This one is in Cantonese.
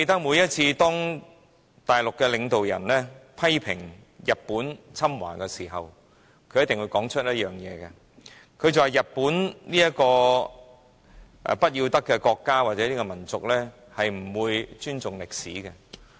每當大陸領導人批評日本侵華時，一定會說日本這個不要得的國家或民族，是不會尊重歷史的。